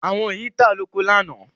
Àwọn yin ta lóko lánàá.